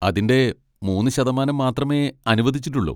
അതിന്റെ മൂന്ന് ശതമാനം മാത്രമേ അനുവദിച്ചിട്ടുള്ളൂ.